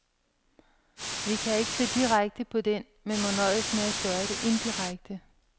Vi kan ikke se direkte på den, men må nøjes med at gøre det indirekte.